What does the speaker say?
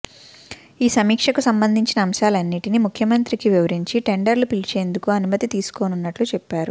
ఈ సమీక్షకు సంబంధించిన అంశాలన్నింటినీ ముఖ్యమంత్రికి వివరించి టెండర్లు పిలిచేందుకు అనుమతి తీసుకోనున్నట్లు చెప్పారు